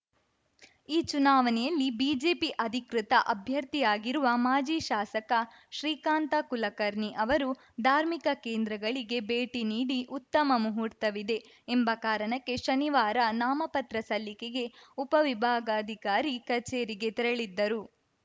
ಈ ಚುನಾವಣೆಯಲ್ಲಿ ಬಿಜೆಪಿ ಅಧಿಕೃತ ಅಭ್ಯರ್ಥಿಯಾಗಿರುವ ಮಾಜಿ ಶಾಸಕ ಶ್ರೀಕಾಂತ ಕುಲಕರ್ಣಿ ಅವರು ಧಾರ್ಮಿಕ ಕೇಂದ್ರಗಳಿಗೆ ಭೇಟಿ ನೀಡಿ ಉತ್ತಮ ಮುಹೂರ್ತವಿದೆ ಎಂಬ ಕಾರಣಕ್ಕೆ ಶನಿವಾರ ನಾಮಪತ್ರ ಸಲ್ಲಿಕೆಗೆ ಉಪವಿಭಾಗಾಧಿಕಾರಿ ಕಚೇರಿಗೆ ತೆರಳಿದ್ದರು